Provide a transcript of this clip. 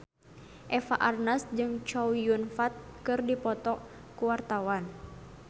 Eva Arnaz jeung Chow Yun Fat keur dipoto ku wartawan